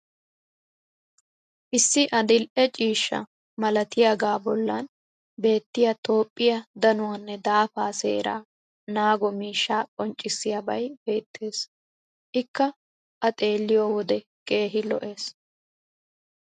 issi adil'e ciishsha malatiyaaga bollan beettiya toophphiya dannuwanne daafaa seeraa naago miishshaa qonccissiyaabay beettees. ikka a xeelliyo wode keehi lo'ees.